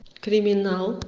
криминал